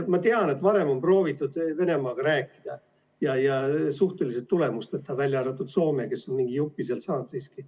Ma tean, et varem on proovitud Venemaaga rääkida ja suhteliselt tulemusteta, välja arvatud Soomel, kes on mingi jupi sealt saanud siiski.